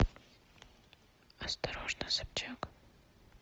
осторожно собчак